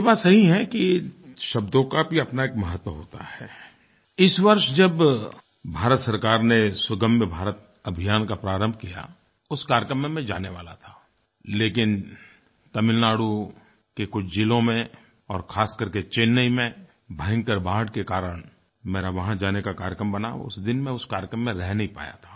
ये बात सही है कि शब्दों का भी अपना एक महत्व होता हैआई इस वर्ष जब भारत सरकार ने सुगम्य भारत अभियान का प्रारंभ किया उस कार्यक्रम में मैं जाने वाला था लेकिन तमिलनाडु के कुछ ज़िलों में और ख़ास कर के चेन्नई में भयंकर बाढ़ के कारण मेरा वहाँ जाने का कार्यक्रम बना उस दिन मैं उस कार्यक्रम में रह नहीं पाया था